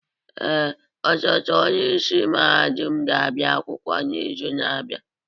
Ee, ọsote onye isi mahadum ga-abịa akwụkwọ n'izu na-abịa.